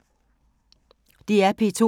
DR P2